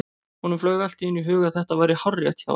Honum flaug allt í einu í hug að þetta væri hárrétt hjá henni.